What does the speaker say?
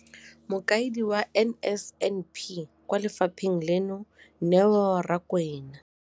Mokaedi wa NSNP kwa lefapheng leno, Neo Rakwena.